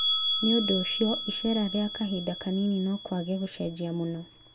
Nĩũndũ ũcio, iceera rĩa kahinda kanini, nokwage gũcenjia mũno